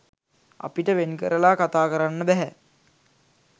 අපිට වෙන්කරලා කතා කරන්න බැහැ.